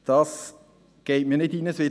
Das geht mir nicht in den Kopf;